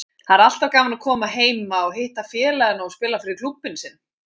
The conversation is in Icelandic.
Það er alltaf gaman að koma heima og hitta félagana og spila fyrir klúbbinn sinn.